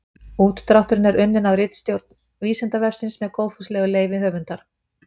Útdrátturinn er unnin af ritstjórn Vísindavefsins með góðfúslegu leyfi höfundar.